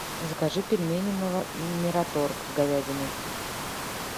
закажи пельмени мираторг с говядиной